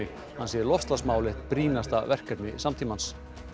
hann segir loftslagsmál eitt brýnasta verkefni samtímans